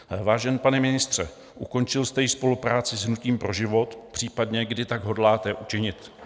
Vážený pane ministře, ukončil jste již spolupráci s Hnutím pro život, případně kdy tak hodláte učinit?